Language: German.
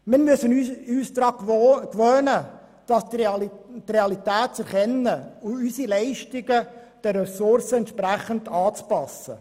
Wir müssen uns daran gewöhnen, die Realität zu erkennen und die Leistungen den Ressourcen anzupassen.